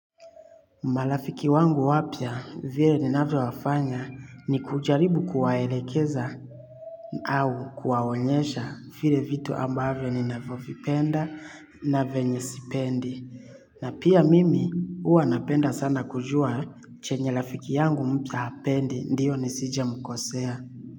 Marafiki wangu wapya vile ninavyowafanya ni kujaribu kuwaelekeza au kuwaonyesha vile vitu ambavyo ni navyovipenda na venye sipendi. Na pia mimi huwa napenda sana kujua chenye rafiki yangu mpya hapendi ndio nisije mkosea.